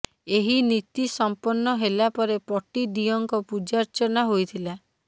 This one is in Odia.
ଏହି ନୀତି ସମ୍ପନ୍ନ ହେଲା ପରେ ପଟିଦିଅଁଙ୍କ ପୂଜାର୍ଚ୍ଚନା ହୋଇଥିଲା